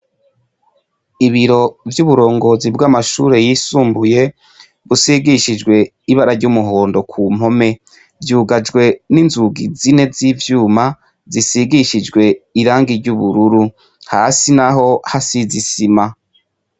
Ibiro vy'uburongozi bw'amashure yisumbuye busigishijwe ibara ry'umuhondo ku mpome vyugajwe n'inzugi izine z'ivyuma zisigishijwe irangi ry’ ubururu hasi naho hasize isima.